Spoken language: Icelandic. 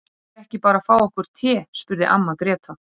Eigum við ekki bara að fá okkur te, spurði amma Gréta.